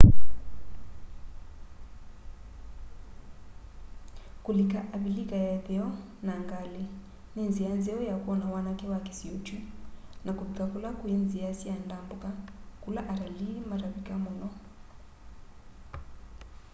kulika avilika ya itheo na ngali ni nzia nzeo ya kwona wanake wa kisio kyu na kuvika kula kwi nzia sya ndambuka kula atalii matavika muno